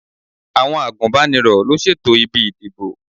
Àwọn àgùnbánirọ̀ ló ṣètò ibi ìdìbò.